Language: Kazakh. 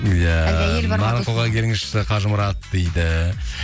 иә маған соға келіңізші қажымұрат дейді